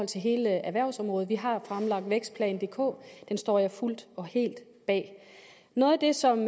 hele erhvervsområdet vi har fremlagt vækstplan dk den står jeg fuldt og helt bag noget af det som